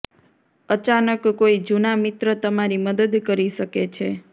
અચાનક કોઈ જૂના મિત્ર તમારી મદદ કરી શકે છે